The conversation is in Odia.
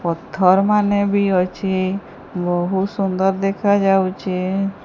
ପଥର୍ ମାନେ ବି ଅଛି ବହୁତ୍ ସୁନ୍ଦର ଦେଖାଯାଉଚି।